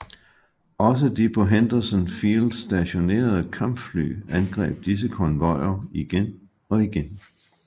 Også de på Henderson Field stationerede kampfly angreb disse konvojer igen og igen